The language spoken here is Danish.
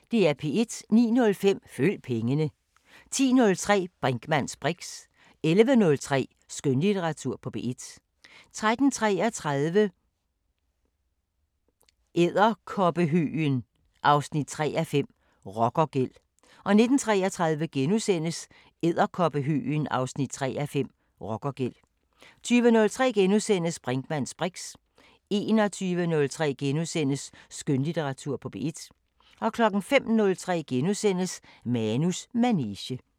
09:05: Følg pengene 10:03: Brinkmanns briks 11:03: Skønlitteratur på P1 13:33: Edderkoppehøgen 3:5 – Rockergæld 19:33: Edderkoppehøgen 3:5 – Rockergæld * 20:03: Brinkmanns briks * 21:03: Skønlitteratur på P1 * 05:03: Manus manege *